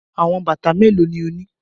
Awọn bata melo ni o ni?